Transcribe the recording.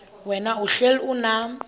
wena uhlel unam